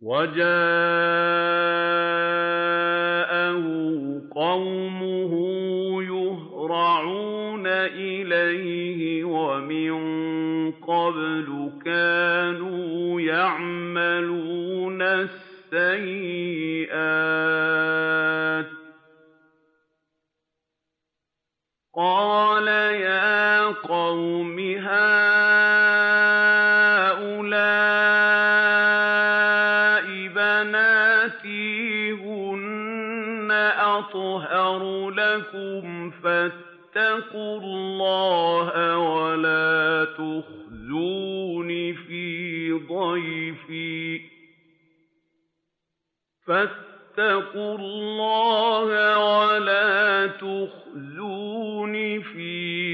وَجَاءَهُ قَوْمُهُ يُهْرَعُونَ إِلَيْهِ وَمِن قَبْلُ كَانُوا يَعْمَلُونَ السَّيِّئَاتِ ۚ قَالَ يَا قَوْمِ هَٰؤُلَاءِ بَنَاتِي هُنَّ أَطْهَرُ لَكُمْ ۖ فَاتَّقُوا اللَّهَ وَلَا تُخْزُونِ فِي